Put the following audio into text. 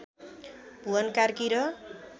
भुवन कार्की र